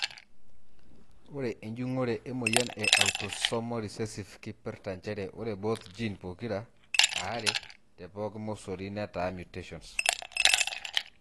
Ore enjungoto emoyian e Autosomal recessive keipirta njere ore both gene pokira aree tepoki mosori netaa mutations.